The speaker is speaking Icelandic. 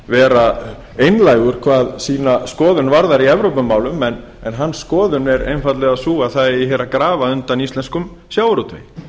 vera einlægur hvað sína skoðun varðar í evrópumálum en hans skoðun er einfaldlega sú að það eigi hér að grafa undan íslenskum sjávarútvegi